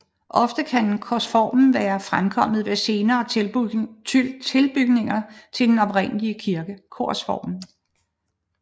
Ofte kan korsformen være fremkommet ved senere tilbygninger til den oprindelige kirke